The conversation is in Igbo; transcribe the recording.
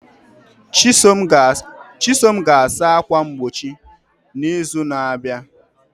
Chisom ga-asa ákwà mgbochi n'izu na-abịa.